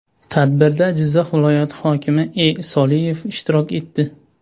Tadbirda Jizzax viloyati hokimi E. Soliyev ishtirok etdi.